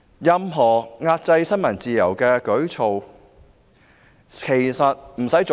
任何壓制新聞自由的舉措，一次也嫌多。